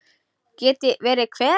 Geti verið hver?